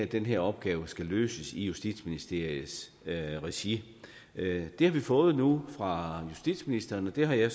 den her opgave skulle løses i justitsministeriets regi det har vi fået nu fra justitsministeren og det har jeg